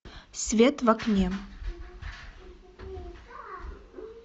свет в окне